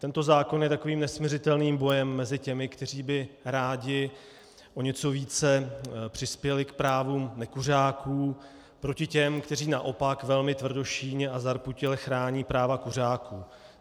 Tento zákon je takovým nesmiřitelným bojem mezi těmi, kteří by rádi o něco více přispěli k právu nekuřáků, proti těm, kteří naopak velmi tvrdošíjně a zarputile chrání práva kuřáků.